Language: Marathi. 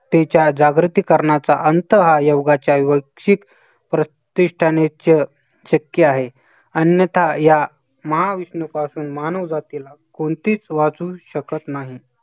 तिच्या जागृती करण्याचा अंत हा योगाच्या वैयक्तिक प्रतिष्ठानचे शक्य आहे. अन्यथा या महाविनाशातून मानव जातीला कोणतीच वाचू शकत नाही.